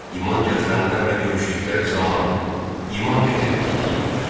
İman gətirənlərlə görüşdükləri zaman: "İman gətirdik" deyirlər.